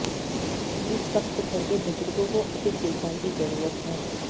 इस वक्त घर के बुजुर्गों को अधिक देखभाल की जरुरत है